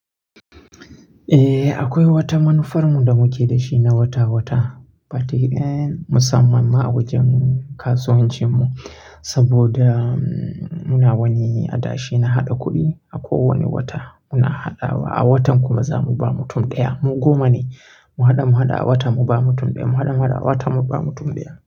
Eh akwai wata manufarmu da muke da shi na wata-wata, particularly musamman ma a wajen kasuwancinmu saboda muna wani adashi na haɗa kuɗi. A kowani wata muna haɗawa, a watan kuma za mu ba mutum ɗaya. Mu goma ne, mu haɗa mu haɗa a wata mu ba mutum ɗaya, mu haɗa mu haɗa a wata mu ba mutum ɗaya.